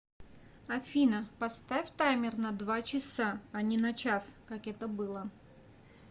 афина поставь таймер на два часа а не на час как это было